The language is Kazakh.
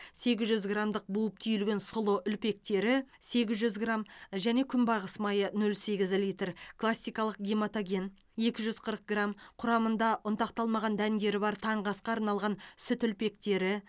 сегіз жүз граммдық буып түйілген сұлы үлпектері сегіз жүз грамм және күнбағыс майы нөл сегіз литр классикалық гематоген екі жүз қырық грамм құрамында ұнтақталмаған дәндері бар таңғы асқа арналған сүт үлпектері